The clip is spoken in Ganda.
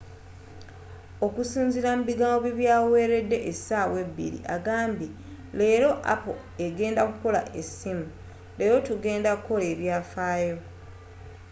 okusinzira mu bigambo bye byaweredde essawa ebiri agambye”leera apple egenda okukola e ssimu, leero tugenda ku kola ebyafayo.